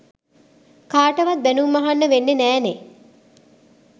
කාටවත් බැනුම් අහන්න වෙන්නෙ නෑ නේ.